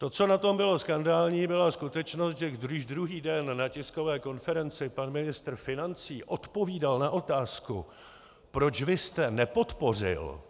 To, co na tom bylo skandální, byla skutečnost, že když druhý den na tiskové konferenci pan ministr financí odpovídal na otázku: Proč vy jste nepodpořil?